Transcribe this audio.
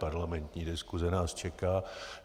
Parlamentní diskuse nás čeká.